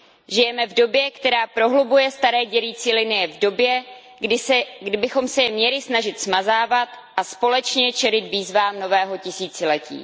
Žijeme v době, která prohlubuje staré dělící linie, v době, kdybychom se je měli snažit smazávat a společně čelit výzvám nového tisíciletí.